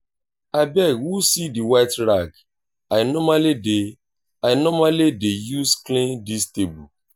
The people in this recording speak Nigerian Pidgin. abeg who see the white rag i normally dey i normally dey use clean dis table